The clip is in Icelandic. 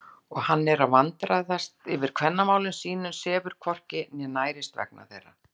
Og hann er að vandræðast yfir kvennamálum sínum, sefur hvorki né nærist vegna þeirra!